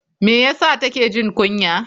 Me ya sa take jin kunya?